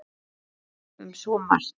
Við töluðum um svo margt.